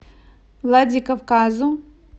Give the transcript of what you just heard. владикавказу